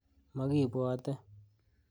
Mokibwote.